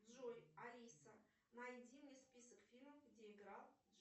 джой алиса найди мне список фильмов где играл